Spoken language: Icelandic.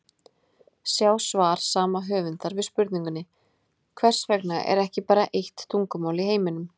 Sjá svar sama höfundar við spurningunni: Hvers vegna er ekki bara eitt tungumál í heiminum?